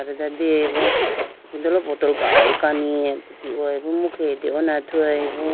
Ala deyayi bo ipindolo bottle gali kani dehoyi bo imu khege dehone athuyayi bo.